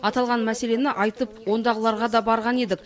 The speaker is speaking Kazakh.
аталған мәселені айтып ондағыларға да барған едік